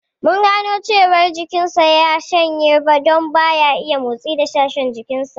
Mun gano cewar jikin sa ya shanye don ba ya iya motsi da sashen jikin sa